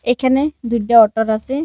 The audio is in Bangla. এখানে দুইটাঅটার আছে।